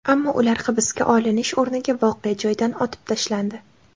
Ammo ular hibsga olinish o‘rniga voqea joyida otib tashlandi.